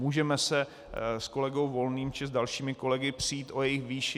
Můžeme se s kolegou Volným či s dalšími kolegy přít o jejich výši.